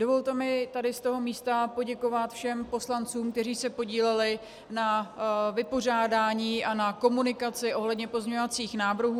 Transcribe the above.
Dovolte mi tady z toho místa poděkovat všem poslancům, kteří se podíleli na vypořádání a na komunikaci ohledně pozměňovacích návrhů.